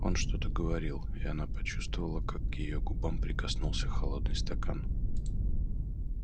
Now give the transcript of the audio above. он что-то говорил и она почувствовала как к её губам прикоснулся холодный стакан